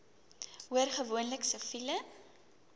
hoor gewoonlik siviele